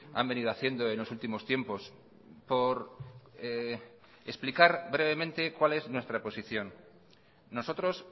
han venido haciendo en los últimos tiempos por explicar brevemente cuál es nuestra posición nosotros